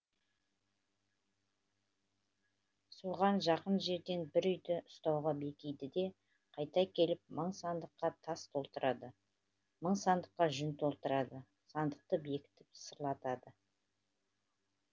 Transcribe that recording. соған жақын жерден бір үйді ұстауға бекиді де қайта келіп мың сандыққа тас толтырады мың сандыққа жүн толтырады сандықты бекітіп сырлатады